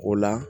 O la